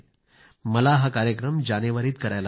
मला हा कार्यक्रम जानेवारीत करायला हवा